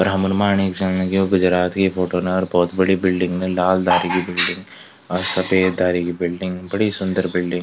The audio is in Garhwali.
ब्राह्मण माणी जन यो गुजरात की फोटो न अर भौत बड़ी बिल्डिंग लाल धारी की बिल्डिंग अर सफ़ेद धारी की बिल्डिंग बड़ी सुन्दर बिल्डिंग ।